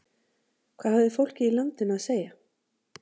Hvað hafði fólkið í landinu að segja?